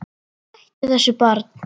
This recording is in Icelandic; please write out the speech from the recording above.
Hættu þessu barn!